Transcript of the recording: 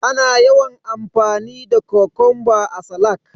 Ana yawan amfani da Kokonba a salak.